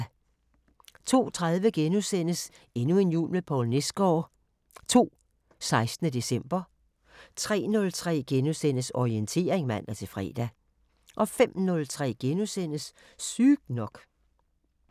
02:30: Endnu en jul med Poul Nesgaard II – 16. december * 03:03: Orientering *(man-fre) 05:03: Sygt nok *